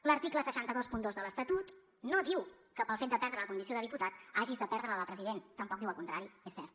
l’article sis cents i vint dos de l’estatut no diu que pel fet de perdre la condició de diputat hagis de perdre la de president tampoc diu el contrari és cert